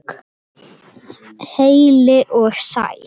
Heil og sæl.